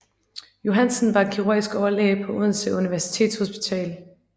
Johansen var kirurgisk overlæge på Odense Universitetshospital